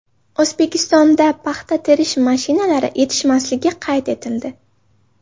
O‘zbekistonda paxta terish mashinalari yetishmasligi qayd etildi.